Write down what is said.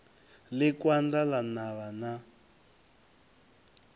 ḽi kanda ḽa navha na